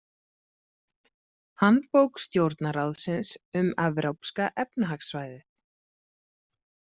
Handbók Stjórnarráðsins um Evrópska efnahagssvæðið.